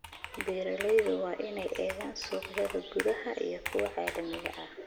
Beeralayda waa inay eegaan suuqyada gudaha iyo kuwa caalamiga ah.